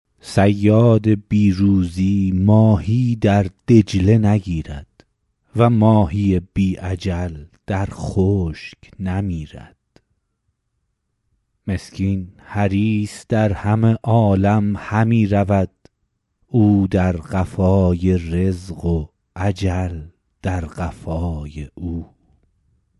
صیاد بی روزی ماهی در دجله نگیرد و ماهی بی اجل در خشک نمیرد مسکین حریص در همه عالم همی رود او در قفای رزق و اجل در قفای او